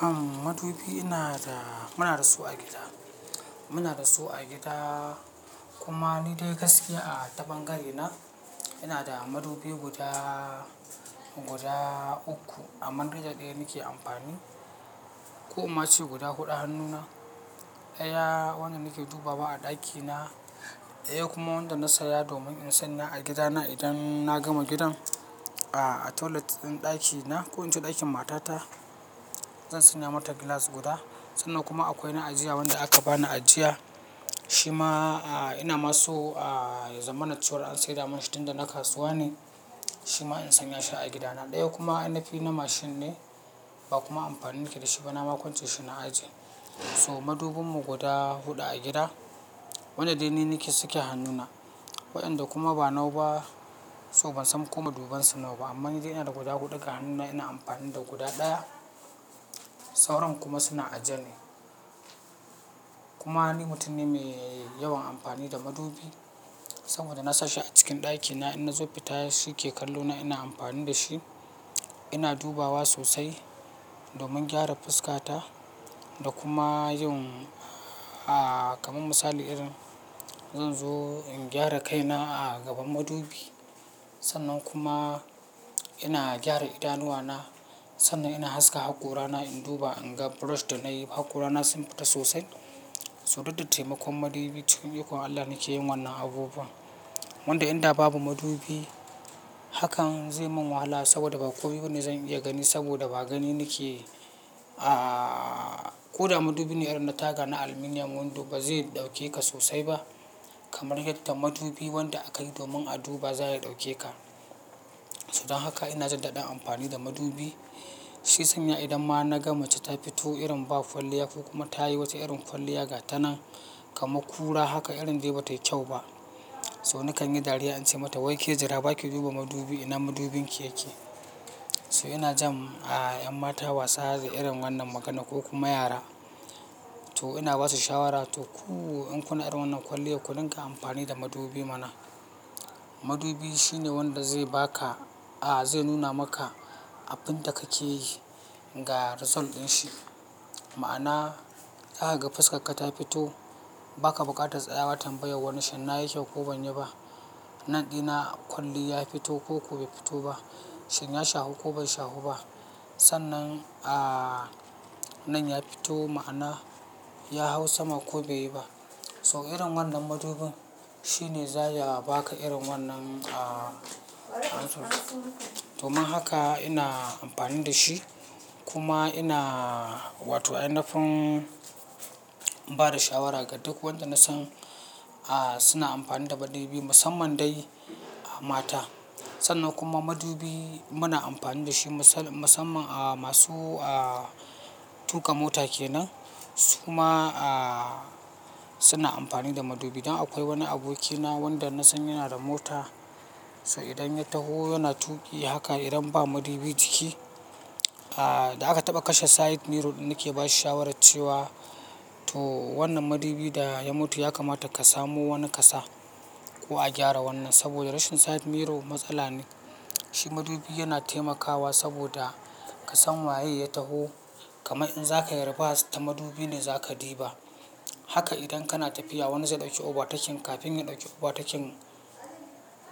Am madubi ina da, muna da su a gida. Muna da su a gida, kuma ni dai gaskiya a ta ɓangare na, ina da madubi guda, guda uku. Amman dai da ɗaya nike amfani, ko in ma ce guda huɗu hannuna. Ɗaya wanda nake dubawa a ɗakina, ɗaya kuma wanda na saya domin in sanya a gidana idan na gama gidan, a toilet ɗin ɗakina ko in ce ɗakin matata, zan sanya mata glass guda. Sannan kuma akwai na ajiya wanda aka bani ajiya. Shi ma ina ma so ya zama na cewar an saida munshi tin da na kasuwa ne, shi ma in sanya shi a gidana. Ɗaya kuma ainafi na mashin ne, ba kuma amfani nike da shi ba, na ma kwance shi na aje. So madubinmu guda huɗu a gida, wanda dai ni nike- suke hannuna. Waɗanda kuma ba nau ba, so ban san ko madubansu nawa ba. Amma ni dai ina da guda huɗu ga hannuna, ina amfani da guda ɗaya. Sauran kuma suna aje ne. Kuma ni mutum ne mai yawan amfani da madubi, saboda na sashi a cikin ɗakina, in na zo fita shi ke kallo na ina amfani da shi. Ina dubawa sosai, domin gyara fuskata da kuma yin, a kamar misali irin, zan zo in gyara kaina a gaban madubi. Sannan kuma ina gyara idanuwana, sannan ina haska haƙora na in duba, in ga brush da nayi haƙora na sun fita sosai. So duk da taimakon madubi cikin ikon Allah nike yin wannan abubuwan. Wanda inda babu madubi hakan zai mun wahala saboda ba komi bane zan iya gani saboda ba gani nike, a ko da madubine irin na taga na aluminium windo bazai ɗauke ka sosai ba, kamar yadda madubi wanda aka yi domin a duba za ya ɗauke ka. To dan haka ina jin daɗin amfani da madubi. Shi ya sanya idan ma naga mace ta fito irin ba kwalliya ko kuma ta yi wata irin kwalliya ga ta nan kamar kura haka, irin dai batayi kyau ba. So nakan yi dariya in ce mata wai ke jira baki duba madubi ina madubinki yake? So ina jan ƴan mata wasa da irin wannan maganar ko kuma yara. To ina basu shawara, to ku in kuna irin wannan kwalliyar ku dinga amfani da madubi mana. Madubi shine wanda zai ba ka, zai nuna maka abinda kake yi ga result ɗinshi. Ma'ana zakaga fuskarka ta fito, baka buƙatar tsayawa tambayan wani shin na yi kyau ko ban yi ba. Nan ɗina kwalli ya fito ko ko bai fito ba. Shin ya shahu ko bai shahu ba. Sannan a nan ya fito ma'ana ya hau sama ko bai yi ba. To irin wannan madubin shine zaya ba ka irin wannan amsar. Domin haka ina amfani da shi, kuma ina wato ainafin ba da shawara ga duk wanda nasan suna amfani da madubi musamman dai mata. Sannan kuma madubi muna amfani da shi masan-masamman masu tuƙa mota kenan, su ma suna amfani da madubi. Dan akwai wani abokina wanda nasan yana da mota, to idan ya taho yana tuƙi haka idan ba madubi ciki, da aka taɓa kashe side mirror ɗin nike ba shi shawarar cewa to wannan madubi da ya mutu yakamata ka samo wani ka sa, ko a gyara wannan saboda rashin side mirror matsala ne. Shi madubi yana taimakawa saboda ka san waye ya taho kamar in zaka yi reverse ta madubi ne zaka diba. Haka idan kana tafiya wani zai ɗauki overtaking, kafin ya ɗauki overtaking